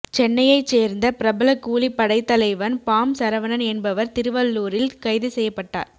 சென்னையைச் சேர்ந்த பிரபல கூலிப்படைத்தலைவன் பாம் சரவணன் என்பவர் திருவள்ளூரில் கைது செய்யப்பட்டார்